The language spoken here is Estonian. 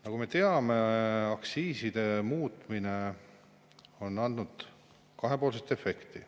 Nagu me teame, aktsiiside muutmine on andnud kahepoolset efekti.